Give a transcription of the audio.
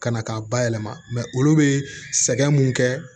Ka na k'a ba yɛlɛma olu bɛ sɛgɛn mun kɛ